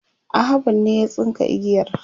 Ahmad ne ya tsinka igiyar